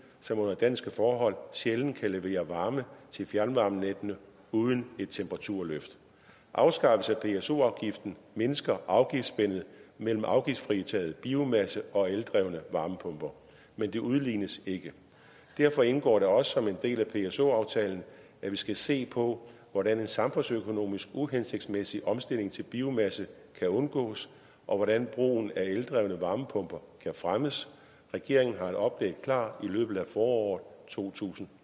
som under danske forhold sjældent kan levere varme til fjernvarmenettene uden et temperaturløft afskaffelsen af pso afgiften mindsker afgiftsspændet mellem afgiftsfritaget biomasse og eldrevne varmepumper men det udlignes ikke derfor indgår det også som en del af pso aftalen at vi skal se på hvordan en samfundsøkonomisk uhensigtsmæssig omstilling til biomasse kan undgås og hvordan brugen af eldrevne varmepumper kan fremmes regeringen har et oplæg klar i løbet af foråret to tusind